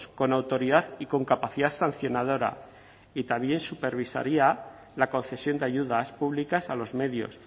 con autoridad y con capacidad sancionadora y también supervisaría la concesión de ayudas públicas a los medios